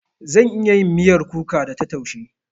Zan iya yin miyar kuka da ta taushe.